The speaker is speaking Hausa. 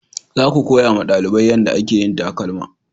Za ku koya ma dalibai yanda a ke yin takalma!